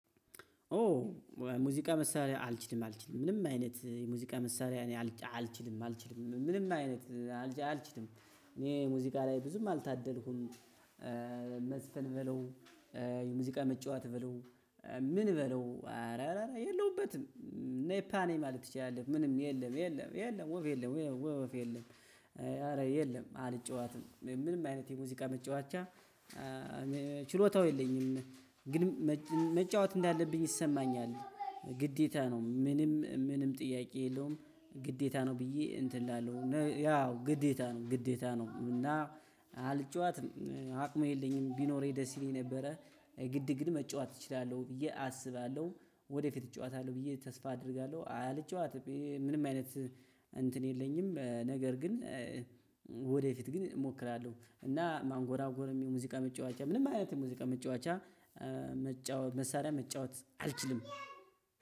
ኦ ሙዚቃ መሳሪያ አልችልም አልችልም ምንም አይነት የሙዚቃ መሳሪያ እኔ አልችልም አልችልም ምንም አይነት አልችልም እኔ ሙዚቃ ላይ ብዙም አልታደልኩም። መዝፈን በለው የሙዚቃ መጫወት በለው ምን በለው አረ የለሁበትም ኔፓ ነኝ ማለት ትችላለህ ምንም የለም የለም የለም ወፍ የለም ወፍ የለም። ኧረ የለም አልጫወትም ምንም አይነት የሙዚቃ መጫወቻ ችሎታው የለኝም። ግን መጫወት እንዳለብኝ ይሰማኛል ግዴታ ነው። ምንም ምንም ጥያቄ የለውም። ግዴታ ነው ብዬ እንትን እላለሁ ያው ግዴታ ነው ግዴታ ነው። እና አልጫዋትም አቅሙ የለኝም ቢኖር ደስ ይለኝ ነበረ። ግድ ግን መጫወት እችላለሁ ብዬ አስባለሁ። ወደፊት እጫወታለሁ ብዬ ተስፋ አደርጋለሁ። አልጫወትም ምንም አይነት እንትን የለኝም ነገር ግን። ወደፊት ግን እሞክራለሁ እና ማንጎራጎርም ሙዚቃ መጫወቻ ምንም አይነት ሙዚቃ መጫወቻ። መጫወት መሳሪያ መጫወት አልችልም።